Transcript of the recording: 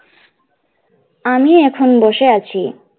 আমি এখন বসে আছি।